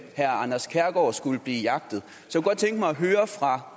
anders kærgaard skulle blive jagtet så